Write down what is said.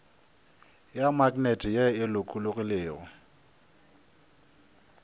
ya maknete ye e lokologilego